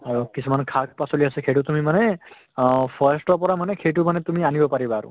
আৰু কিছুমান শাক পাচলী আছে সেইটো তুমি মানে অহ forest ৰ পৰা মানে সেইটো মানে তুমি আনিব পাৰিবা আৰু।